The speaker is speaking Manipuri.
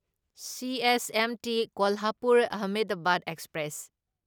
CSMT Kolhapur Ahmedabad express